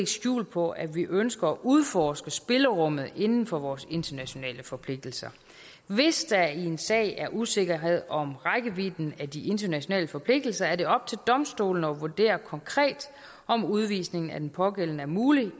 skjul på at vi ønsker at udforske spillerummet inden for vores internationale forpligtelser hvis der i en sag er usikkerhed om rækkevidden af de internationale forpligtelser er det op til domstolene at vurdere konkret om udvisningen af den pågældende er mulig